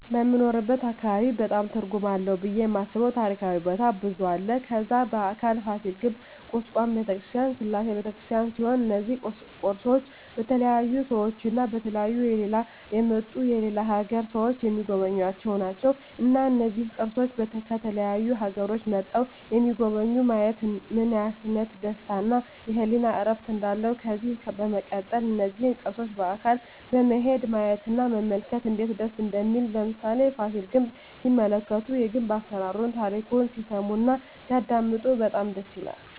በምንኖርበት አካባቢ በጣም ትርጉም አለው ብየ የማስበው ታሪካዊ ቦታ ብዙ አለ ከዛ በአካል ፋሲል ግንብ ኩስካም በተክርስቲያን ስላሴ በተክርስቲያን ሲሆኑ እነዚ ቅርሶች በተለያዩ ሰዎች እና በተለያዩ ከሌላ የመጡ የሌላ አገር ሰዎች ሚጎበኙአቸው ናቸው እና እነዚህን ቅርሶች ከተለያዩ አገሮች መጥተዉ የጎበኙ ማየት ምን አይነት ደስታ እና የህሊና እርፍ እንዳለው ከዚህ በመቀጠል እነዚህን ቅርሶች በአካል በመሄድ ማየት እና መመልከት እነዴት ደስ እንደሚል ለምሳሌ ፋሲል ግንብ ሲመለከቱ የግንብ አሰራሩን ታሪኩን ሲሰሙ እና ሲያደመጡ በጣም ደስ ይላል